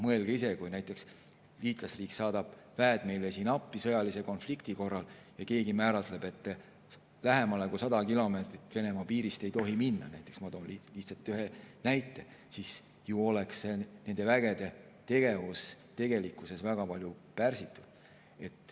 Mõelge ise, kui näiteks liitlasriik saadab meile sõjalise konflikti korral väed appi, aga keegi määrab, et lähemale kui 100 kilomeetrit Venemaa piirist ei tohi minna – ma toon lihtsalt ühe näite –, siis oleks ju nende vägede tegevus väga pärsitud.